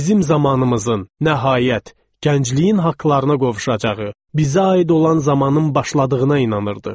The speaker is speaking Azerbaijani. Bizim zamanımızın, nəhayət, gəncliyin haqlarına qovuşacağı, bizə aid olan zamanın başladığına inanırdıq.